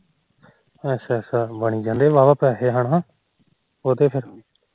ਅੱਛਾ ਅੱਛਾ ਬਣੀ ਜਾਂਦੇ ਵਾਹ ਵਾਹ ਪੈਸੇ ਹਨਾ ਉਹ ਤੇ ਫਿਰ